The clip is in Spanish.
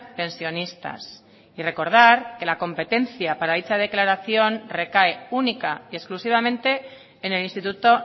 pensionistas y recordar que la competencia para dicha declaración recae única y exclusivamente en el instituto